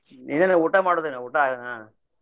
ಏನ್ರಿ ಊಟ ಮಾಡುದ ಇನ್ನ ಊಟಾ.